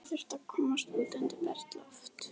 Ég þurfti að komast út undir bert loft.